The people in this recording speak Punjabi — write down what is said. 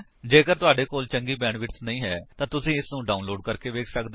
ਜੇਕਰ ਤੁਹਾਡੇ ਕੋਲ ਚੰਗੀ ਬੈਂਡਵਿਡਥ ਨਹੀਂ ਹੈ ਤਾਂ ਤੁਸੀ ਇਸਨੂੰ ਡਾਉਨਲੋਡ ਕਰਕੇ ਵੇਖ ਸੱਕਦੇ ਹੋ